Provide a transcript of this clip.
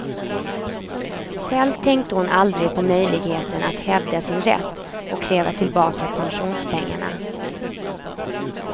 Själv tänkte hon aldrig på möjligheten att hävda sin rätt och kräva tillbaka pensionspengarna.